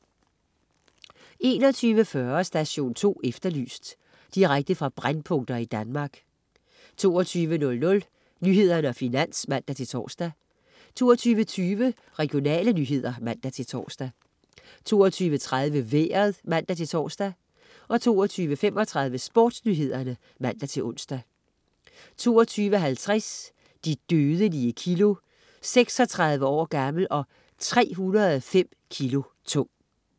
21.40 Station 2 Efterlyst. Direkte fra brændpunkter i Danmark 22.00 Nyhederne og Finans (man-tors) 22.20 Regionale nyheder (man-tors) 22.30 Vejret (man-tors) 22.35 SportsNyhederne (man-ons) 22.50 De dødelige kilo. 36 år gammel og 305 kg tung